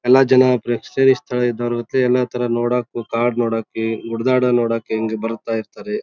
ಎಲ್ಲಾ ಜನ ಪ್ರೇಕ್ಷಣೀಯ ಸ್ಥಳ ಇದ್ದವೇ ನೋಡೋಕೆ. ಎಲ್ಲಾ ತರ ನೋಡೋಕು ಕಾಡ್ ನೋಡಕೆ ಉಡಿದಾತ ನೋಡೋಕೆ ಎಲ್ಲಾ ಬರ್ತಾ ಇರ್ತರೆ.